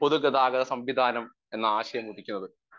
speaker 1 പൊതുഗതാഗത സംവിധാനം എന്ന ആശയമുദിക്കുന്നത്